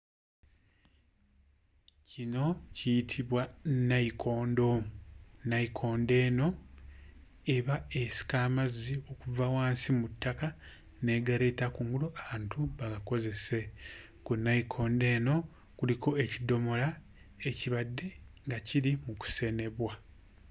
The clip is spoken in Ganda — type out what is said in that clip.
Kino kiyitibwa nayikondo. Nayikondo eno eba esika amazzi okuva wansi mu ttaka n'egaleeta kungulu abantu bagakozese. Ku nayikondo eno kuliko ekidomola ekibadde nga kiri mu kusenebwa.